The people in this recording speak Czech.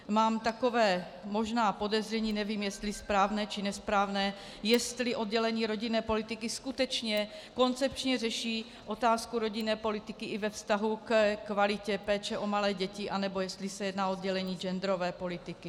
Mám takové možná podezření, nevím, jestli správné, či nesprávné, jestli oddělení rodinné politiky skutečně koncepčně řeší otázku rodinné politiky i ve vztahu ke kvalitě péče o malé děti, anebo jestli se jedná o oddělení genderové politiky.